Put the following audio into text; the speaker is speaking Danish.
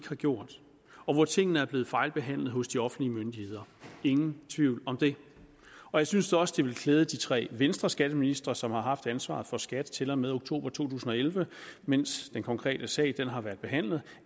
har gjort og hvor tingene er blevet fejlbehandlet hos de offentlige myndigheder ingen tvivl om det og jeg synes også at det ville klæde de tre venstreskatteministre som har haft ansvaret for skat til og med oktober to tusind og elleve mens den konkrete sag har været behandlet